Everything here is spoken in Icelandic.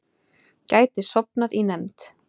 Gæti sofnað í nefnd